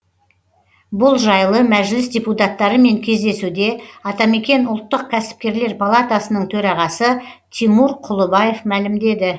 бұл жайлы мәжіліс депутаттарымен кездесуде атамекен ұлттық кәсіпкерлер палатасының төрағасы тимур құлыбаев мәлімдеді